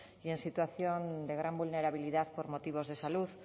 y en situación de gran vulnerabilidad por motivos de salud